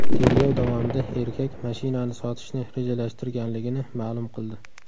Tergov davomida erkak mashinani sotishni rejalashtirganligini ma’lum qildi.